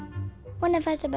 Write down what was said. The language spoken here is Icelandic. honum fannst það bara